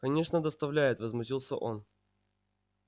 конечно доставляет возмутился он